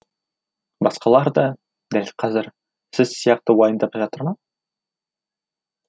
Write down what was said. басқалар да дәл қазір сіз сияқты уайымдап жатыр ма